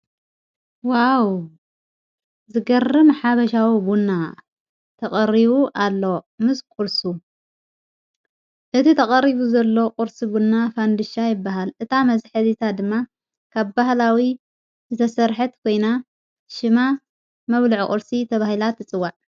ዋው ዝገርም ሓበሻዊ ቡና ተቐሪቡ ኣሎ ምስ ቊርሱ እቲ ተቐሪቡ ዘሎ ቝርስ ቡና ፋንድሻ ይበሃል እታ መትሐዚት ድማ ካብ ባህላዊ ዘሠርሐት ኮይና ሽማ መብሉዕ ቝርሲ ተብሂላት ትጽዋዕ።